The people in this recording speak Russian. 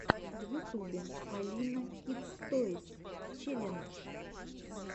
в ютубе алина кидс тойс челлендж